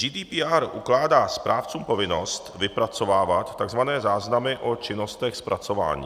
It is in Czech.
GDPR ukládá správcům povinnost vypracovávat tzv. záznamy o činnostech zpracování.